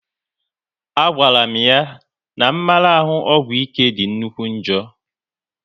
A gwara m ya n'mmarahu ọgwụ ike dị nnukwu njọ